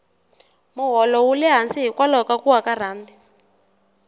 moholo wule hansi hikwalaho ka kuwa ka rhandi